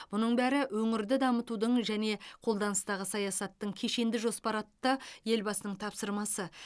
мұның бәрі өңірді дамытудың және қолданыстағы саясаттың кешенді жоспары атты елбасының тапсырмасы